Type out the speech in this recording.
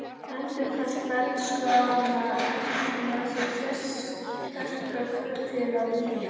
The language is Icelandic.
Endurkast bernskuáranna efldi með mér sterka hvöt til að vígja